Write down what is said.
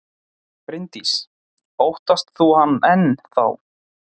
Bryndís: Óttast þú hann enn þá?